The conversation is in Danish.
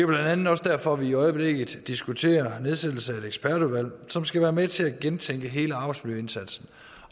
blandt andet også derfor at vi i øjeblikket diskuterer nedsættelse af et ekspertudvalg som skal være med til at gentænke hele arbejdsmiljøindsatsen